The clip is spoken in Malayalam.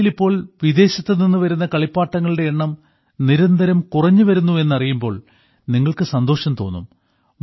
ഇന്ത്യയിലിപ്പോൾ വിദേശത്തുനിന്ന് വരുന്ന കളിപ്പാട്ടങ്ങളുടെ എണ്ണം നിരന്തരം കുറഞ്ഞുവരുന്നു എന്നറിയുമ്പോൾ നിങ്ങൾക്ക് സന്തോഷം തോന്നും